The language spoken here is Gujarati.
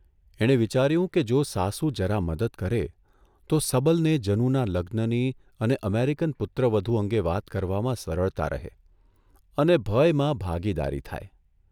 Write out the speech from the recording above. એણે વિચાર્યું કે જો સાસુ જરા મદદ કરે તો સબલને જનુના લગ્નની અને અમેરિકન પુત્રવધુ અંગે વાત કરવામાં સરળતા રહે અને ભયમાં ભાગીદારી થાય.